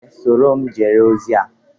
Ee, soro m gere ozi a